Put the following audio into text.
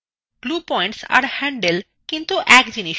glue points are handle এক জিনিস নয়